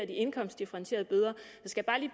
de indkomstdifferentierede bøder skal